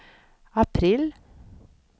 april